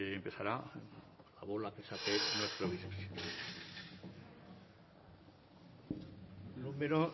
empezará con la bola que saque nuestro